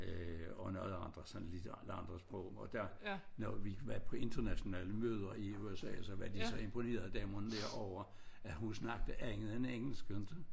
Og noget andre sådan lidt andre sprog og der når vi været på internationale møder i USA så var de så imponerede damerne derovre at hun snakkede andet en engelsk